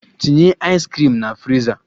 Tinye ice cream na friza!